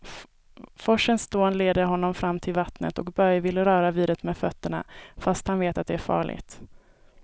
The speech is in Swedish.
Forsens dån leder honom fram till vattnet och Börje vill röra vid det med fötterna, fast han vet att det är farligt.